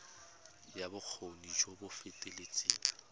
ya bokgoni jo bo feteletseng